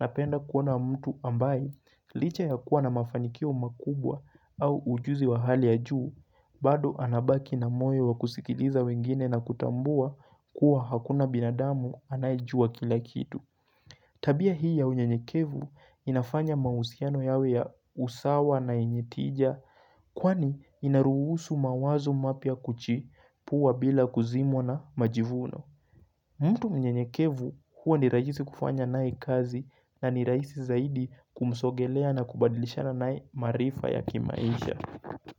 napenda kuona mtu ambaye licha ya kuwa na mafanikio makubwa au ujuzi wa hali ya juu bado anabaki na moyo wa kusikiliza wengine na kutambua kuwa hakuna binadamu anayejua kila kitu. Tabia hii ya unyenyekevu inafanya mahusiano yawe ya usawa na yenye tija kwani inaruhusu mawazo mapya kuchipuwa bila kuzimwa na majivuno. Mtu mnyenyekevu huwa ni rahisi kufanya naye kazi na ni rahisi zaidi kumsogelea na kubadilishanq naye maarifa ya kimaisha.